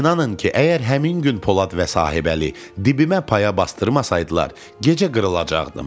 İnanın ki, əgər həmin gün Polad və Sahibəli dibimə paya basdırmasaydılar, gecə qırılacaqdım.